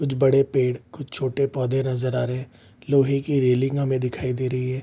कुछ बड़े पेड़ कुछ छोटे पौधे नजर आ रहे हैं लोहे की रेल्लिंग हमें दिखाई दे रही है।